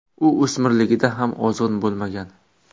U o‘smirligida ham ozg‘in bo‘lmagan.